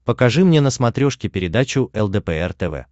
покажи мне на смотрешке передачу лдпр тв